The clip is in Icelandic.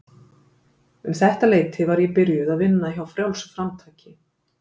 Um þetta leyti var ég byrjuð að vinna hjá Frjálsu framtaki.